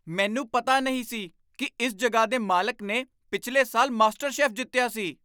ਮੈਨੂੰ ਪਤਾ ਨਹੀਂ ਸੀ ਕਿ ਇਸ ਜਗ੍ਹਾ ਦੇ ਮਾਲਕ ਨੇ ਪਿਛਲੇ ਸਾਲ ਮਾਸਟਰ ਸ਼ੈੱਫ ਜਿੱਤਿਆ ਸੀ!